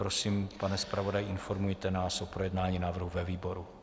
Prosím, pane zpravodaji, informujte nás o projednání návrhu ve výboru.